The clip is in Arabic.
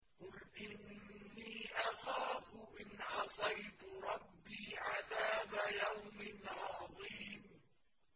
قُلْ إِنِّي أَخَافُ إِنْ عَصَيْتُ رَبِّي عَذَابَ يَوْمٍ عَظِيمٍ